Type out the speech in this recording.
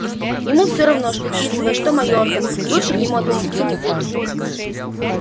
ему всё равно что тисовая что майорка лучше к нему относиться не будут